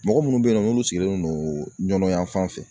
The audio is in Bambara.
Mɔgɔ munnu be yen nɔ n'olu sigilen don ɲɔnfan fɛ